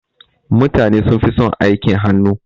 Mutane sunfi son aikin hannu.